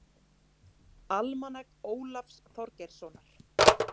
Almanak Ólafs Þorgeirssonar.